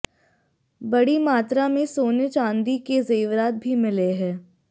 बडी मात्रा में सोने चांदी के जेवरात भी मिले हैं